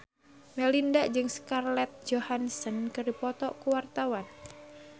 Melinda jeung Scarlett Johansson keur dipoto ku wartawan